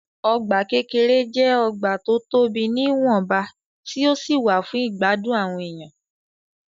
Ọgbà kékeré jẹ́ ọgbà tó tobì ní ìwọ̀nba tí ó sì wà fún ìgbádùn àwọn èèyan.